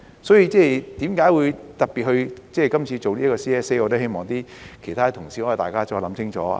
所以，為何今次特別提出這 CSA， 我希望其他同事可以再想清楚。